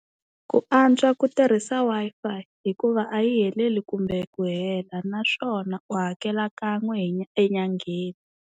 Ku antswa ku tirhisa Wi-Fi hikuva a yi heleli kumbe ku hela naswona u hakela kan'we enyangheni.